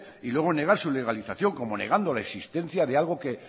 y luego negar su legalización como negando la existencia de algo que